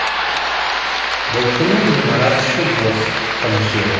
бұл күні ғимарат іші бос тыныш еді